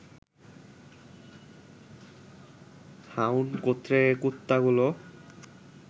hound গোত্রের এ কুত্তাগুলো